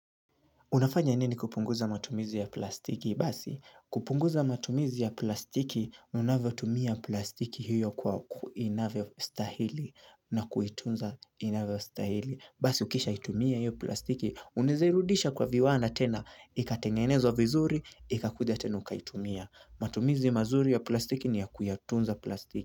Unafanya nini kupunguza matumizi ya plastiki? Basi, kupunguza matumizi ya plastiki, unavotumia plastiki hiyo kwa inavyo stahili na kuitunza inavyo stahili. Basi, ukisha itumia hiyo plastiki, unizirudisha kwa viwanda tena, ikatengenezwa vizuri, ikakuja tena uka itumia. Matumizi mazuri ya plastiki ni ya kuyatunza plastiki.